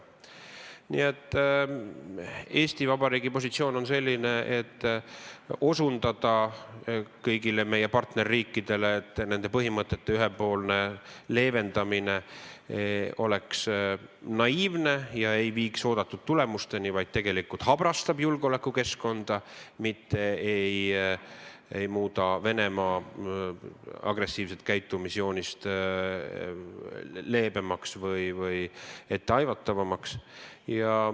Nii et Eesti Vabariigi positsioon on selline: anda kõigile meie partnerriikidele mõista, et nende põhimõtete ühepoolne leevendamine on naiivne ja ei vii oodatud tulemusteni, vaid tegelikult habrastab julgeolekukeskkonda ega muuda Venemaa agressiivset käitumisjoonist leebemaks või etteaimatavamaks.